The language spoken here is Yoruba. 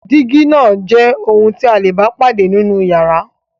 Dígí náà jẹ́ ohun tí a le bá pàdé nínú ìyàrá.